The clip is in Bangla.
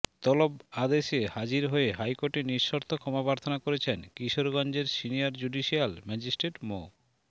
তলব আদেশে হাজির হয়ে হাইকোর্টে নিঃশর্ত ক্ষমা প্রার্থনা করেছেন কিশোরগঞ্জের সিনিয়র জুডিশিয়াল ম্যাজিস্ট্রেট মো